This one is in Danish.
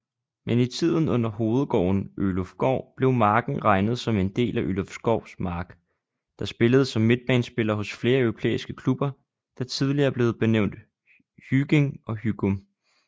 Men i tiden under hovedgården ølufgård blev marken regnet som en del af ølufgårds markDer spillede som midtbanespiller hos flere europæiske klubberDer tidligere er blevet benævnt hyging og hyghum